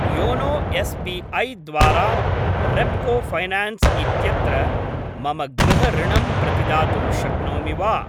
YONO SBI. द्वारा Repco finance इत्यत्र मम गृहऋणम् प्रतिदातुं शक्नोमि वा?